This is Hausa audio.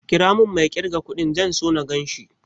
Ƙira mun mai ƙirga kudin, zan so na ganshi